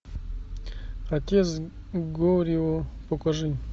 отец горио покажи